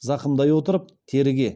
зақымдай отырып теріге